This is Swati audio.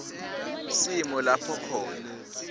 simo lapho khona